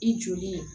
I joli